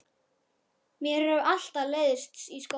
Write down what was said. Mér hefur alltaf leiðst í skóla.